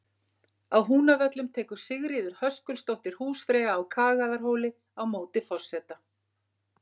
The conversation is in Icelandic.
Á Húnavöllum tekur Sigríður Höskuldsdóttir húsfreyja á Kagaðarhóli á móti forseta.